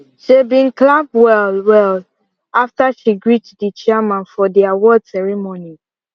seh bin clap well well after she greet di chairman for di award ceremony